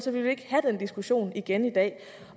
vi ikke have den diskussion igen i dag